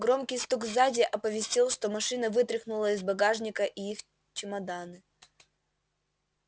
громкий стук сзади оповестил что машина вытряхнула из багажника и их чемоданы